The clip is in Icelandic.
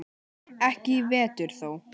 Ekki í vetur þó.